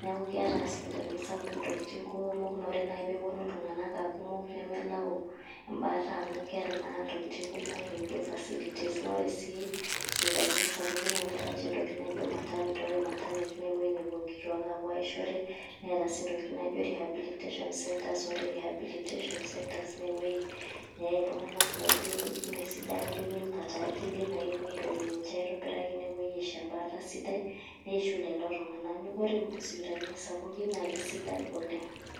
Neeku keeta isipitalini sapukin intokitin kuumok, ore nai peponu iltung'anak akumok, nemelau ebaata amu keeta naa intokitin kumok nikijo facilities. Na ore si sipitalini sapukin, na keeta nche intokitin naijo maternity. Ore maternity na ewueji nepuo nkituak apuo aishore. Neeta si ntokiting' naijo rehabilitation centres. Ore rehabilitation centre ma ewoi neyai iltung'anak laijo meesidan. Ijo keirukate akili. Nakepoi airorie ninche aitobiraki, nepoi aisho ebaata sidai. Neishiu lelo tung'anak. Neeku ore isipitalini sapukin na kesidan oleng'.